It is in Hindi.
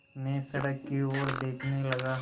मैं सड़क की ओर देखने लगा